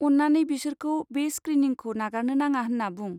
अन्नानै बिसोरखौ बे स्क्रिनिंखौ नागारनो नाङा होनना बुं।